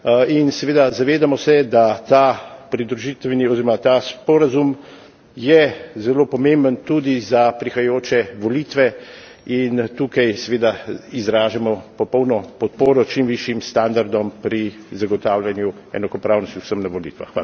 In seveda zavedamo se, da ta pridružitveni oziroma ta sporazum je zelo pomemben tudi za prihajajoče volitve in tukaj seveda izražamo popolno podporo čim višjim standardom pri zagotavljanju enakopravnosti vsem na volitvah.